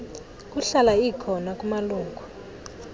kuhlala ikhona kumalungu